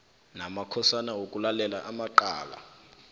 namakhosana wokulalela amacala